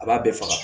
A b'a bɛɛ faga